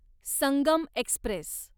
Sangam Express